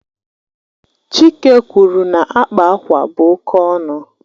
Chike kwuru na akpa akwa bụ oke ọnụ.